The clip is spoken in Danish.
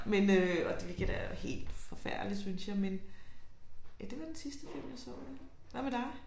Men øh og det hvilket er helt forfærdeligt synes jeg men ja det var den sidste film jeg så. Hvad med dig?